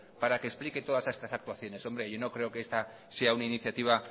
para que explique todas estas actuaciones hombre yo no creo que esta sea una iniciativa